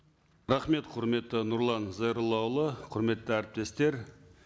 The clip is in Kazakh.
рахмет құрметті нұрлан зайроллаұлы құрметті әріптестер